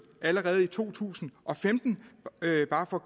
allerede i år to tusind og femten det er bare for